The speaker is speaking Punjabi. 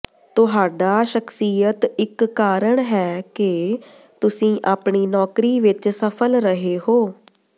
ਤੁਹਾਡਾ ਸ਼ਖਸੀਅਤ ਇੱਕ ਕਾਰਨ ਹੈ ਕਿ ਤੁਸੀਂ ਆਪਣੀ ਨੌਕਰੀ ਵਿੱਚ ਸਫਲ ਰਹੇ ਹੋ